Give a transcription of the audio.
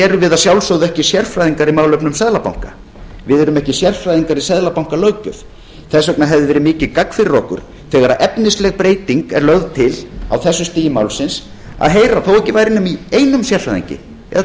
erum við að sjálfsögðu ekki sérfræðingar í málefnum seðlabanka við erum ekki sérfræðingar í seðlabankalöggjöf þess vegna hefði verið mikið gagn fyrir okkur þegar efnisleg breyting er lögð til á þessu stigi málsins að heyra þó ekki væri nema í einum sérfræðingi eða